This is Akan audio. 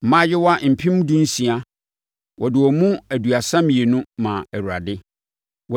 mmaayewa mpem dunsia (16,000); wɔde wɔn mu aduasa mmienu (32) maa Awurade.